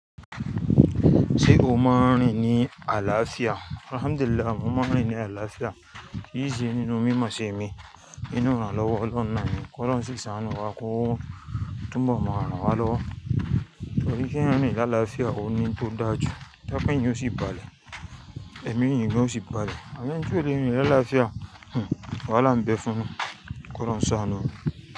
Ṣé o máa ń rìn ní àlàáfíà? Alhamdulillah, mo máa ń rìn ní àlàáfíà. Kí í ṣe nínú mímọ̀ ṣe mi. Inú iràn lọ́wọ́ lọwọ Ọlọhun naa ni K'Ọlọhun si sàánú wa kó túnbọ̀ mọ ran wa lọ́wọ́. Torí kéèyàn rìn ní àlàáfíà, o ní tó dáa jù. Tokan eeyan ò sí balẹ̀, èmi yín ò sí balẹ̀. Àmọn ẹni tí ò le rìn ní àlàáfíà, hmmm! Wàhálà ń bẹ fún wọn. Kọ́lohun sánú wa.